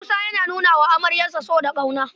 Musa yana nuna wa amaryarsa so da ƙauna.